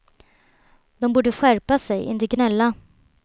De borde skärpa sig, inte gnälla.